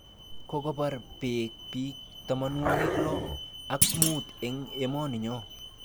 Kokobar beek bik tamanwok lo ak mut eng emoni nyo